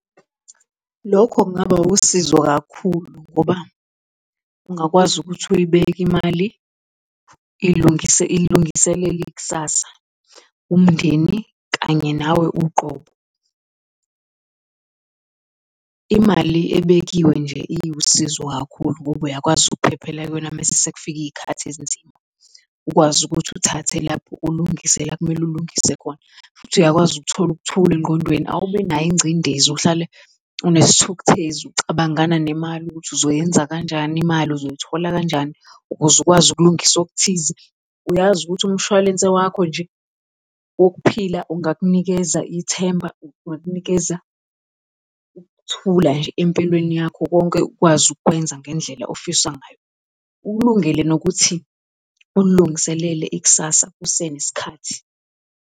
Lokho kungaba usizo kakhulu ngoba ungakwazi ukuthi uyibeke imali ilungiselele kusasa, umndeni kanye nawe uqobo. Imali ebekiwe nje iwusizo kakhulu, ngoba uyakwazi ukuphephela kuyona mese sekufike iy'khathi ezinzima, ukwazi ukuthi uthathe lapho ulungise la ekumele ulungise khona futhi uyakwazi ukuthola ukuthula engqondweni. Awubi nayo ingcindezi, uhlale unesithukthezi, ucabangana nemali ukuthi uzoyenza kanjani imali, uzoyithola kanjani ukuze ukwazi ukulungisa okuthize. Uyazi ukuthi umshwalense wakho nje wokuphila ungakunikeza ithemba, ungakunikeza ukuthula nje empilweni yakho konke ukwazi ukukwenza ngendlela ofisa ngayo, ukulungele nokuthi ulilungiselele ikusasa kusenesikhathi.